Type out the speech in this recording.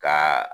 Ka